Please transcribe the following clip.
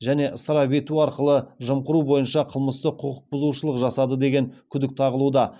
және ысырап ету арқылы жымқыру бойынша қылмыстық құқық бұзушылық жасады деген күдік тағылуда